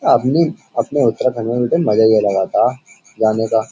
अपनी अपने उत्तराखंड में बेटे मजा ये लगाता जाने का --